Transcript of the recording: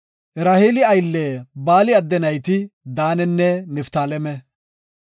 Raheeli aylle Baali adde nayti Daanenne Niftaaleme.